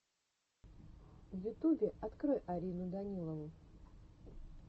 в ютубе открой арину данилову